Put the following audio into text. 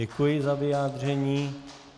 Děkuji za vyjádření.